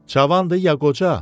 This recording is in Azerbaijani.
Cavandır ya qoca?